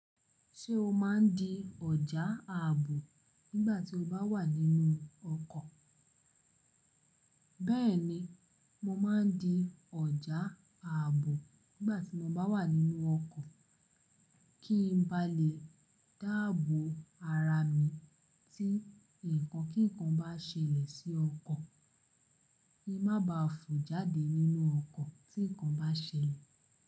Ṣé o má ń di ọjà ààbò nígbà tí o bá wà nínú ọkọ̀? Bẹ́ẹ̀ni, mo má ń di ọjà ààbò nígbà tí mo bá wà nínú ọkọ̀, kí ń bá lè dáàbò ara mi tí ǹkan kíǹkan bá ṣẹlẹ̀ sí ọkọ̀, kí n má ba à fò jáde nínú ọkọ̀ tí ǹkan bá ṣẹlẹ̀